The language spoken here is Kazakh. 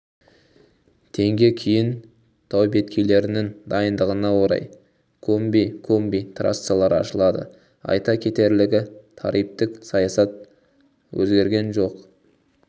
тг кейін таубеткейлерінің дайындығына орай комби комби трассалары ашылады айта кетерлігі тарифтік саясат өзгерген жоқ